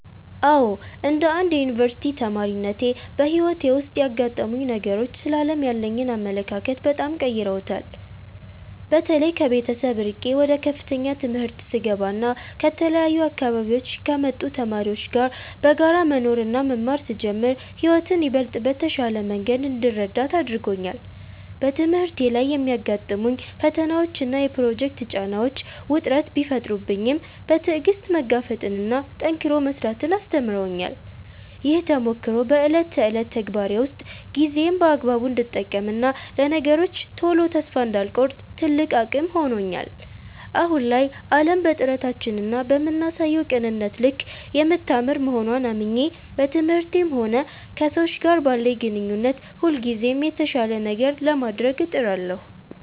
አዎ፣ እንደ አንድ የዩኒቨርሲቲ ተማሪነቴ በሕይወቴ ውስጥ ያጋጠሙኝ ነገሮች ስለ ዓለም ያለኝን አመለካከት በጣም ቀይረውታል። በተለይ ከቤተሰብ ርቄ ወደ ከፍተኛ ትምህርት ስገባና ከተለያዩ አካባቢዎች ከመጡ ተማሪዎች ጋር በጋራ መኖርና መማር ስጀምር ሕይወትን ይበልጥ በተሻለ መንገድ እንድረዳት አድርጎኛል። በትምህርቴ ላይ የሚያጋጥሙኝ ፈተናዎችና የፕሮጀክት ጫናዎች ውጥረት ቢፈጥሩብኝም፣ በትዕግሥት መጋፈጥንና ጠንክሮ መሥራትን አስተምረውኛል። ይህ ተሞክሮ በዕለት ተዕለት ተግባሬ ውስጥ ጊዜዬን በአግባቡ እንድጠቀምና ለነገሮች ቶሎ ተስፋ እንዳልቆርጥ ትልቅ አቅም ሆኖኛል። አሁን ላይ ዓለም በጥረታችንና በምናሳየው ቅንነት ልክ የምታምር መሆንዋን አምኜ፣ በትምህርቴም ሆነ ከሰዎች ጋር ባለኝ ግንኙነት ሁልጊዜም የተሻለ ነገር ለማድረግ እጥራለሁ።